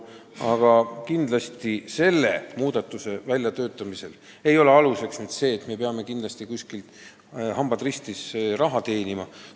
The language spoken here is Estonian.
Aga selle muudatuse väljatöötamise aluseks ei olnud see, et me peame kindlasti, hambad ristis, raha teenima.